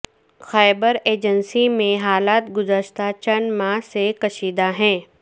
خیبر agency میں حالات گزشتہ چند ماہ سے کشیدہ ہیں